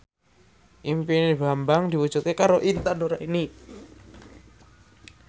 impine Bambang diwujudke karo Intan Nuraini